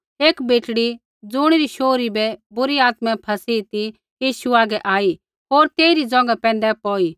एक बेटड़ी ज़ुणी री शोहरी बै बुरी आत्मा फ़ैसी ती यीशु हागै आई होर तेइरी ज़ोंघा पैंधै पौई